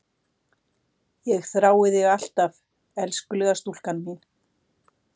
Ég þrái þig alt af elskulega stúlkan mín.